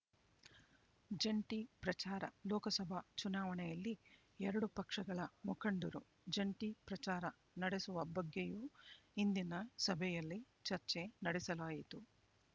ಜಂಟಿ ಪ್ರಚಾರ ಲೋಕಸಭಾ ಚುನಾವಣೆಯಲ್ಲಿ ಎರಡೂ ಪಕ್ಷಗಳ ಮುಖಂಡರು ಜಂಟಿ ಪ್ರಚಾರ ನಡೆಸುವ ಬಗ್ಗೆಯೂ ಇಂದಿನ ಸಭೆಯಲ್ಲಿ ಚರ್ಚೆ ನಡೆಸಲಾಯಿತು